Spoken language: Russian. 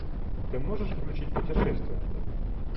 ты можешь включить путешествия